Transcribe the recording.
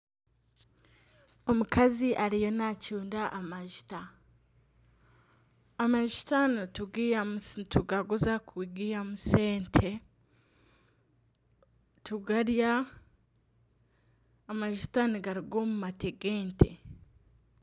Omukazi ariyo nacunda amajuta. Amajuta nitugaguza kugihamu sente, tugarya. Amajuta nigaruga omu mate g'ente.